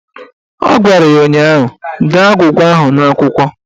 Ọ gwara ya ụnyaahụ "Dee agwụgwa ahụ n'akwụkwọ"!